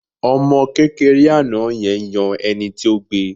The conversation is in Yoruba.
Ọmọ kékeré àná yẹn yan ẹni tó gbe